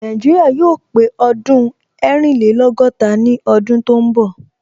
Nàìjíríà yóò pé ọdún ẹrìnlẹ́lọ́gọ́ta ní ọdún tó ń bọ̀